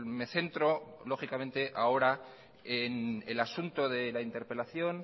me centro lógicamente ahora en el asunto de la interpelación